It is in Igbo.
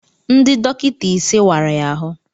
Ndị dọkịta ise wara ya ahụ